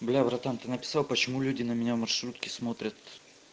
бля братан ты написал почему люди на меня в маршрутке смотрят